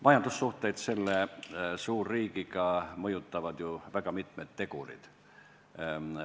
Majandussuhteid selle suurriigiga mõjutavad mitmed tegurid.